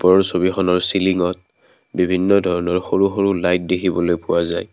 ওপৰৰ ছবিখনৰ চিলঙত বিভিন্ন ধৰণৰ সৰু সৰু লাইট দেখিবলৈ পোৱা যায়।